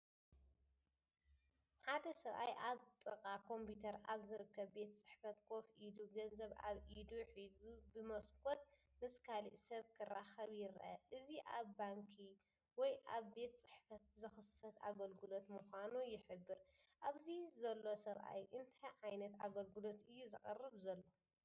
ሓደ ሰብኣይ ኣብ ጥቓ ኮምፒተር ኣብ ዝርከብ ቤት ጽሕፈት ኮፍ ኢሉ፡ገንዘብ ኣብ ኢዱ ሒዙ፣ ብመስኮት ምስ ካልእ ሰብ ክራኸብ ይርአ። እዚ ኣብ ባንኪ ወይኣብ ቤት ጽሕፈት ዝኽሰት ኣገልግሎት ምዃኑ ይሕብር። ኣብዚ ዘሎሰብኣይ እንታይ ዓይነት ኣገልግሎት እዩ ዘቕርብ ዘሎ?